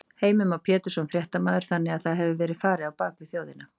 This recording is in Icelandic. Heimir Már Pétursson, fréttamaður: Þannig að það hefur verið farið á bak við þjóðina?